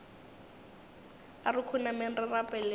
a re khunameng re rapeleng